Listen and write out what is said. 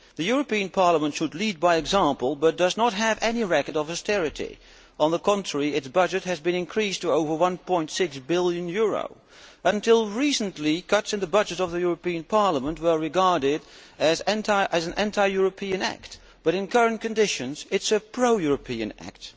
The European Parliament should lead by example but does not have any record of austerity. On the contrary, its budget has been increased to over EUR 1.6 billion. Until recently cuts in the budget of the European Parliament were regarded as an anti European act, but in current conditions it is a pro European act.